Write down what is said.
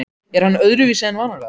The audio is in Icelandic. Er hann öðruvísi en vanalega?